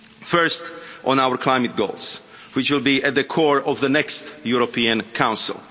First, on our climate goals, which will be at the core of the next European Council.